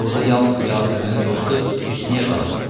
Burda yalnız Yasəmənin dostu Hüsnüyyə qalar,